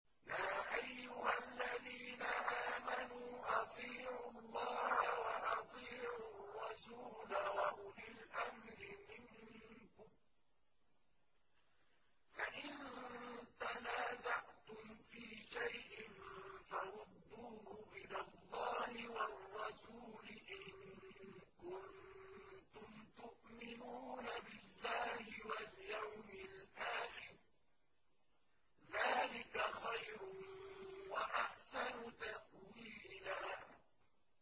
يَا أَيُّهَا الَّذِينَ آمَنُوا أَطِيعُوا اللَّهَ وَأَطِيعُوا الرَّسُولَ وَأُولِي الْأَمْرِ مِنكُمْ ۖ فَإِن تَنَازَعْتُمْ فِي شَيْءٍ فَرُدُّوهُ إِلَى اللَّهِ وَالرَّسُولِ إِن كُنتُمْ تُؤْمِنُونَ بِاللَّهِ وَالْيَوْمِ الْآخِرِ ۚ ذَٰلِكَ خَيْرٌ وَأَحْسَنُ تَأْوِيلًا